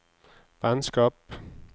vennskap